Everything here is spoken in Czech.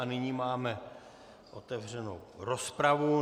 A nyní máme otevřenu rozpravu.